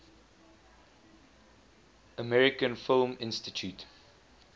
american film institute